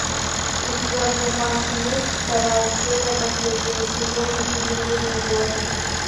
у тебя в запасе есть вторая серия последнего сезона изумрудный город